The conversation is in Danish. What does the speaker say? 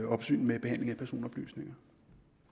opsyn med behandlingen af personoplysninger